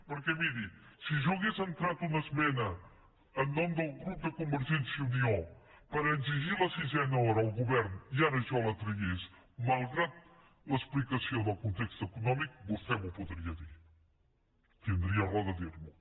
perquè miri si jo hagués entrat una esmena en nom del grup de convergència i unió per exigir la sisena hora al govern i ara jo la tragués malgrat l’explicació del context econòmic vostè m’ho podria dir tindria raó de dir m’ho